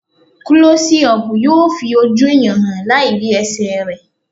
Klọ́sí ọpù yóò fi ojú ẹ̀yàn hàn láì rí ẹsẹ̀ rẹ̀.